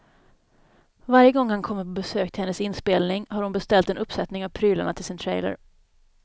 Varje gång han kommer på besök till hennes inspelning har hon beställt en uppsättning av prylarna till sin trailer.